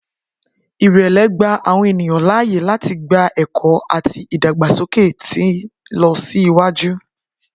Irẹlẹ gba awọn eniyan laaye lati gba ẹkọ ati idagbasoke ti nlọsiwaju.